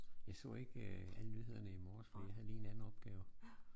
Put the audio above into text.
Jeg så ikke øh alle nyhederne i morges for jeg havde lige en anden opgave